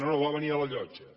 no no va venir a la llotja